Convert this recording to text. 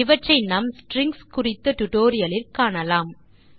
இவற்றை நாம் ஸ்ட்ரிங்ஸ் குறித்த டியூட்டோரியல் லில் காணலாம்